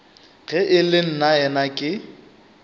ge e le nnaena ke